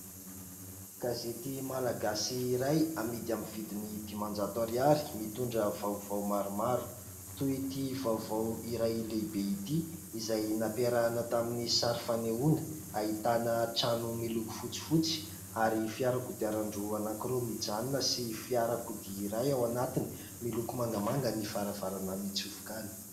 Gazety malagasy iray amidy amin'ny vidiny dimanjato ariary mitondra vaovao maromaro toy ity vaovao iray lehibe ity izay nampiarahana tamin'ny sary fanehoana ahitana trano miloko fotsy fotsy ary fiara kodiaran-droa mijanona sy fiarakodia iray, ao anatiny miloko mangamanga ny varavarana mitsofoka any.